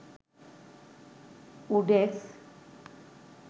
oDesk